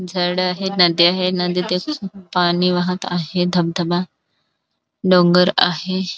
झाड आहे नद्या आहे पाणी वाहत आहे धबधबा डोंगर आहे.